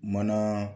Mana